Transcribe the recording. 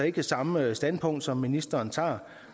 ikke samme standpunkt som ministeren tager